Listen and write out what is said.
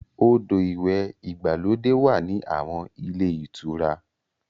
Odò ìwẹ̀ ìgbàlódé wà ní àwọn ilé ìtura.